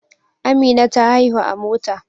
Amina ta haihu a Mota